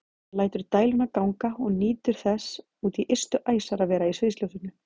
Hann lætur dæluna ganga og nýtur þess út í ystu æsar að vera í sviðsljósinu.